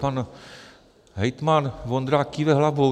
Pan hejtman Vondrák kýve hlavou.